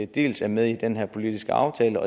dels er med i den her politiske aftale